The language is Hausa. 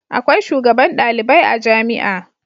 Akwai shugaban ɗalibai a jamia